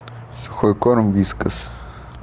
сухой корм вискас